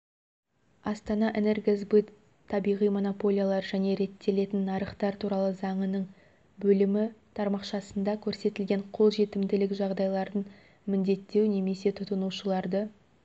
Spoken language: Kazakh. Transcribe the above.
астанаэнергосбыт табиғи монополиялар және реттелетін нарықтар туралы заңының бөлімі тармақшасында көрсетілген қолжетімділік жағдайларын міндеттеу немесе тұтынушыларды